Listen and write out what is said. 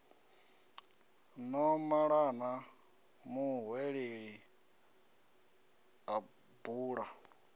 no malana muhweleli a bula